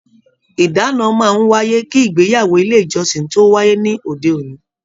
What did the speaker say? Ìdáná máa n wáyé kí ìgbéyàwó ilé ìjọsìn tó wáyé ní òde òní.